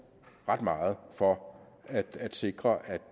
ret meget for at sikre at